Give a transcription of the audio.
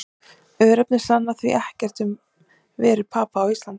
Örnefni sanna því ekkert um veru Papa á Íslandi.